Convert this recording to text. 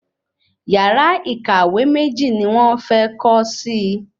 Yàrá ìkàwé méjì ni wón fé kó si